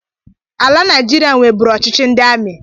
Ala Naịjiria nweburu ọchịchị ndị ami